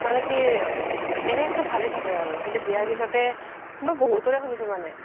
মানে কি এনে চ্'ব ভালে থাকে আৰু বিয়া পিছ্তে মই বহুতৰে শুনিছো মানে